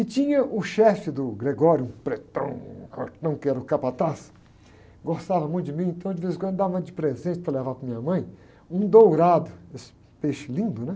E tinha o chefe do, um pretão, fortão, que era o capataz, gostava muito de mim, então de vez em quando dava de presente para levar para minha mãe um dourado, esse peixe lindo, né?